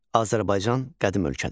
Azərbaycan qədim ölkədir.